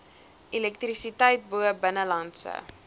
elektrisiteit bo binnelandse